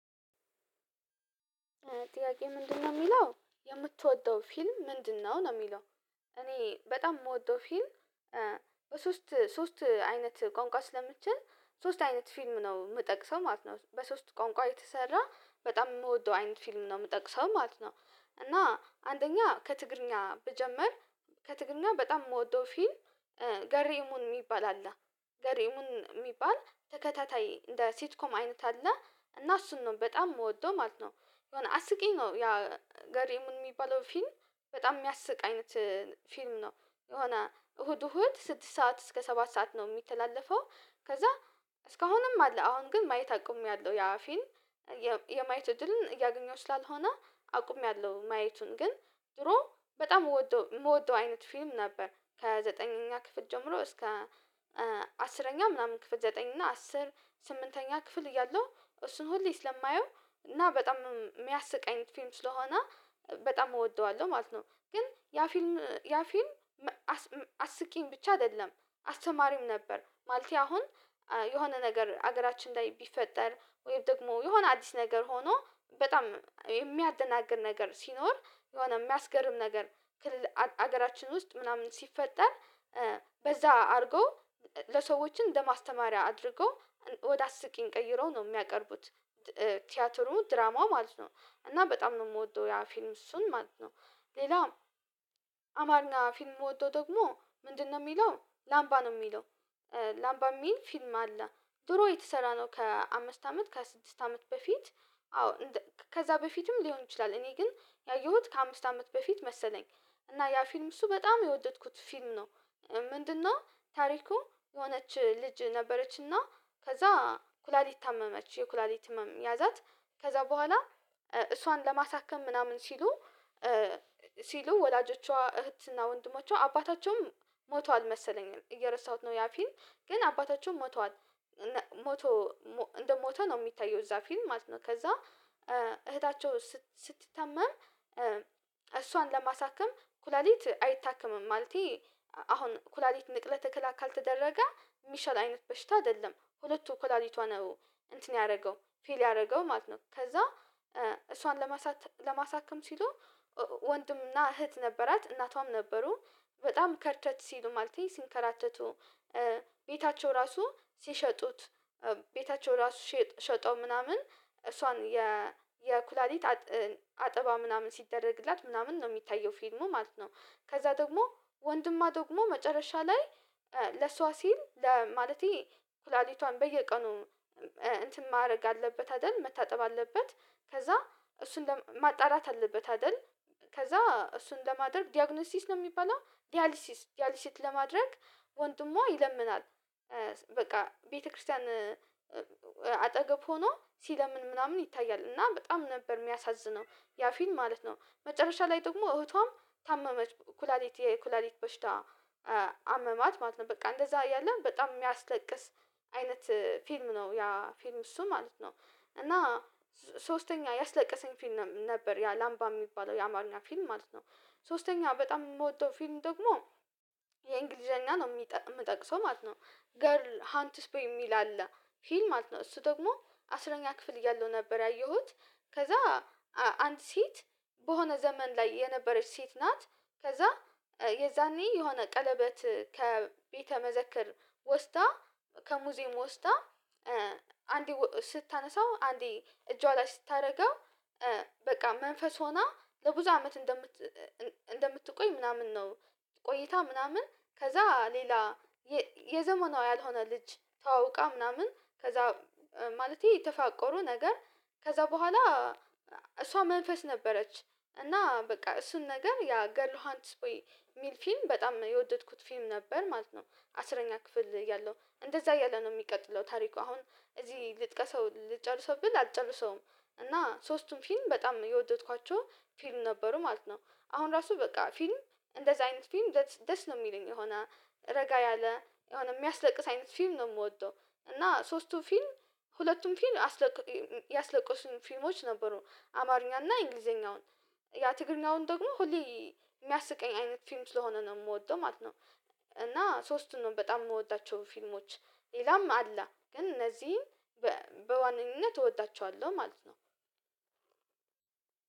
ጥያቄ ምንድነው የሚለው የምትወደው ፊልም ምንድነው ነው የሚለው። እኔ በጣም የምወደው ፊልም በሶስት ሶስት አይነት ቋንቋ ስለምችል ሶስት አይነት ፊልም ነው የምጠቅሰው ማለት ነው በሶስት ቋንቋ የተሰራ በጣም የምወደው አይነት ፊልም ነው የምጠቅሰው ማለት ነው እና አንደኛ ከትግርኛ ብጀምር ከትግርኛ በጣም የምወደው ፊልም ገሬእሙን ይባላል። ገሬሙን የሚባል ተከታታይ እንደ ሲት ኮም አይነት አለ እና እሱን ነው በጣም የምወደው ማለት ነው የሆነ አስቂኝ ነው ያ ገሬእሙን የሚባለው ፊልም በጣም የሚያስቅ አይነት ፊልም ነው የሆነ እሁድ እሁድ ስድስት ሰዓት እስከ ሰባት ሰዓት ነው የሚተላለፈው ከዛ እስካሁንም አለ አሁን ግን ማየት አቁሜያለሁ ያ ፊልም የማየት እድልን እያገኘሁ ስላልሆነ አቁሜያለሁ ማየቱን ግን ድሮ በጣም የምወደው አይነት ፊልም ነበር ከዘጠነኛ ክፍል ጀምሮ እስከ አስረኛ ምናምን ክፍል ዘጠኝ እና አስር ስምንተኛ ክፍል እያለሁ እሱን ሁሌ ስለማየው እና በጣም የሚያስቀኝ ፊልም ስለሆነ በጣም እወደዋለሁ ማለት ነው ግን ያ ፊልም ያ ፊልም አስቂኝ ብቻ አይደለም አስተማሪም ነበር ማለቴ አሁን የሆነ ነገር ሀገራችን ላይ ቢፈጠር ወይም ደግሞ የሆነ አዲስ ነገር ሆኖ በጣም የሚያደናግር ነገር ሲኖር የሆነ የሚያስገርም ነገር ክልል ሀገራችን ውስጥ ምናምን ሲፈጠር በዛ አድርገው ለሰዎችን እንደማስተማሪያ አድርገው ወደ አስቂኝ ቀይረው ነው የሚያቀርቡት ቲያትሩ ድራማው ማለት ነው እና በጣም ነው የምወደው ያ ፊልም እሱን ማለት ነው ሌላ አማርኛ ፊልም የምወደው ደግሞ ምንድነው የሚለው ላምባ ነው የሚለው ላምባ የሚል ፊልም አለ ድሮ የተሰራ ነው ከአምስት አመት ከስድስት አመት በፊት አዎ ከዛ በፊትም ሊሆን ይችላል እኔ ግን ያየሁት ከአምስት አመት በፊት መሰለኝ እና ያ ፊልም እሱ በጣም የወደድኩት ፊልም ነው ምንድነው ታሪኩ የሆነች ልጅ ነበረችና ከዛ ኩላሊት ታመመች የኩላሊት ህመም ያዛት ከዛ በኋላ እሷን ለማሳከም ምናምን ሲሉ ሲሉ ወላጆቿ እህት እና ወንድሞቿ አባታቸውም ሞቷል መሰለኝ እየረሳሁት ነው ያ ፊልም ግን አባታቸው ሞቷል ሞቶ እንደሞተ ነው የሚታየው እዛ ፊልም ማለት ነው ከዛ እህታቸው ስትታመም እሷን ለማሳክም ኩላሊት አይታከምም ማለቴ አሁን ኩላሊት ንቅለ ተከላ ካልተደረገ የሚሻል አይነት በሽታ አይደለም ሁለቱ ኩላሊቷ ነው እንትን ያደረገው ፌል ያደረገው ማለት ነው ከዛ እሷን ለማሳካም ሲሉ ወንድምና እህት ነበራት እናቷም ነበሩ በጣም ከርተት ሲሉ ማለቴ ሲንከራተቱ ቤታቸው ራሱ ሲሸጡት ቤታቸው ራሱ ሸጠው ምናምን እሷን የ የኩላሊት አጠባ ምናምን ሲደረግላት ምናምን ነው የሚታየው ፊልሙ ማለት ነው። ከዛ ደግሞ ወንድማ ደግሞ መጨረሻ ላይ ለሷ ሲል ማለቴ ኩላሊቷን በየቀኑ እንትን ማድረግ አለበት አይደል መታጠብ አለበት ከዛ እሱን ማጣራት አለበት አይደል ከዛ እሱን ለማድረግ ዲያግኖሲስ ነው የሚባለው ዲያሊሲስ ዲያሊሲት ለማድረግ ወንድሟ ይለምናል በቃ ቤተክርስቲያን አጠገብ ሆኖ ሲለምን ምናምን ይታያል እና በጣም ነበር የሚያሳዝነው ያ ፊልም ማለት ነው መጨረሻ ላይ ደግሞ እህቷም ታመመች ኩላሊት የኩላሊት በሽታ አመማት ማለት ነው በቃ እንደዛ አይደለም በጣም የሚያስለቅስ አይነት ፊልም ነው ያ ፊልም እሱ ማለት ነው እና ሶስተኛ ያስለቀሰኝ ፊልም ነበር ያ ላምባ የሚባለው የአማርኛ ፊልም ማለት ነው ሶስተኛ በጣም የምወደው ፊልም ደግሞ የእንግሊዘኛ ነው የምጠቅሰው ማለት ነው ገርል ሃንትስፖይ የሚል አለ ፊልም ማለት ነው እሱ ደግሞ አስረኛ ክፍል እያለው ነበር ያየሁት ከዛ አንድ ሴት በሆነ ዘመን ላይ የነበረች ሴት ናት ከዛ የዛኔ የሆነ ቀለበት ከቤተ መዘክር ወስዳ ከሙዚየሙ ወስዳ አንዴ ስታነሳው አንዴ እጇ ላይ ስታደርገው በቃ መንፈስ ሆና ለብዙ አመት እንደምት እንደምትቆይ ምናምን ነው ቆይታ ምናምን ከዛ ሌላ የዘመኗ ያልሆነ ልጅ ተዋውቃ ምናምን ከዛ ማለቴ ተፋቆሩ ነገር ከዛ በኋላ እሷ መንፈስ ነበረች እና በቃ እሱን ነገር ያ ገርል ሃንትስቦይ የሚል ፊልም በጣም የወደድኩት ፊልም ነበር ማለት ነው አስረኛ ክፍል እያለው እንደዛ እያለ ነው የሚቀጥለው ታሪኩ አሁን እዚህ ልጥቀሰው ልጨርሰው ብል አልጨርሰውም እና ሶስቱም ፊልም በጣም የወደድኳቸው ፊልም ነበሩ ማለት ነው አሁን ራሱ በቃ ፊልም እንደዛ አይነት ፊልም ደስ ነው የሚለኝ የሆነ ረጋ ያለ የሆነ የሚያስለቅስ አይነት ፊልም ነው የምወደው እና ሶስቱ ፊልም ሁለቱም ፊልም ያስለቀሱኝ ፊልሞች ነበሩ አማርኛና እንግሊዘኛውን ያ ትግርኛውን ደግሞ ሁሌ የሚያስቀኝ አይነት ፊልም ስለሆነ ነው የምወደው ማለት ነው እና ሶስቱን ነው በጣም የምወዳቸው ፊልሞች ሌላም አለ ግን እነዚህን በዋነኝነት እወዳቸዋለሁ ማለት ነው